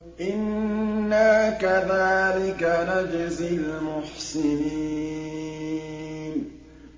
إِنَّا كَذَٰلِكَ نَجْزِي الْمُحْسِنِينَ